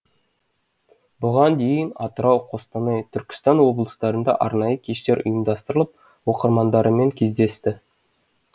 бұған дейін атырау қостанай түркістан облыстарында арнайы кештер ұйымдастырылып оқырмандарымен кездесті